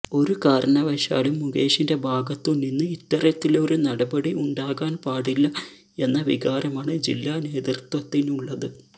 ഒരു കാരണവശാലും മുകേഷിന്റെ ഭാഗത്തു നിന്ന് ഇത്തരത്തിലൊരു നടപടി ഉണ്ടാകാന് പാടില്ല എന്ന വികാരമാണ് ജില്ലാ നേതൃത്വത്തിനുള്ളത്